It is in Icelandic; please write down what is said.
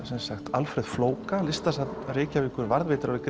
Alfreð flóka listasafn Reykjavíkur varðveitir